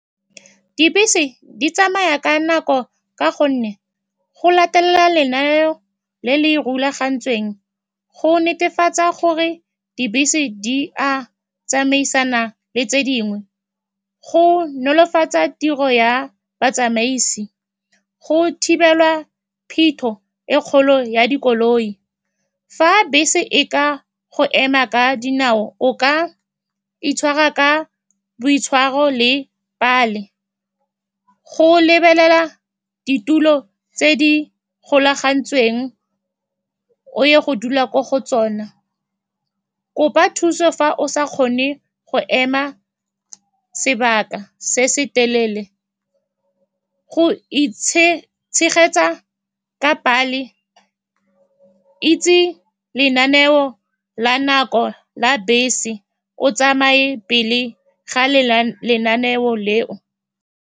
Dibese di tsamaya ka nako ka gonne go latelela lenaneo le le rulagantsweng go netefatsa gore dibese di a tsamaisana le tse dingwe, go nolofatsa tiro ya batsamaisi. Go thibelwa phetho e e kgolo ya dikoloi. Fa bese e ka go ema ka dinao, o ka itshwara ka boitshwaro le pale, go lebelela ditulo tse di golagantsweng o ye go dula ko go tsona. Kopa thuso fa o sa kgone go ema sebaka se se telele, go tshegetsa ka pale. Itse lenaneo la nako la bese, o tsamaye pele ga lenaneo leo.